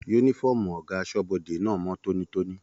Yúnífọ̀ọ́mù ọgá asọ́bọdè náà mọ tónítóní.